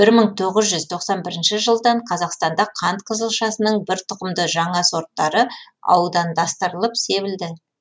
бір мың тоғыз жүз тоқсан тоғызыншы жылдан қазақстанда қант қызылшасының бір тұқымды жаңа сорттары аудандастырылып себілді